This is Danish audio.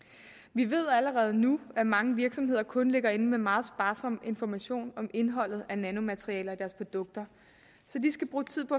vi ved allerede nu at mange virksomheder kun ligger inde med meget sparsom information om indholdet af nanomaterialer i deres produkter så de skal bruge tid på